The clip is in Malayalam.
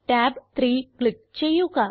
tab 3 ക്ലിക്ക് ചെയ്യുക